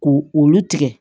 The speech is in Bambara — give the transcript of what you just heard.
Ko olu tigɛ